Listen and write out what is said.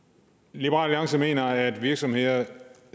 liberal alliance mener at virksomheder ikke